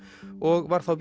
og var þá